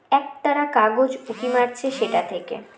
একতারা কাগজ উকি মারছে সেটা থেকে